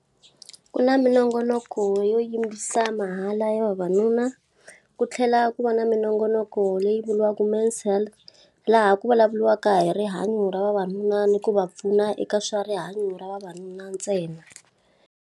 Ku na minongonoko yo yimbisa mahala ya vavanuna. Ku tlhela ku va na minongonoko leyi vuriwaka man's health. Laha ku vulavuriwaka hi rihanyo ra vavanuna ni ku va pfuna eka swa rihanyo ra vavanuna ntsena.